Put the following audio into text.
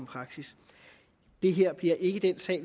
praksis det her bliver ikke den sag